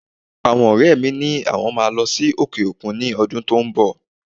Àwọn ọrẹ mi ni àwọn máa lọ sí òkè òkun ní ọdún tó ń bọ̀.